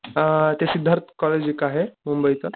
आ, ते सिद्धार्त कॉलेज एक आहे मुंबईच का.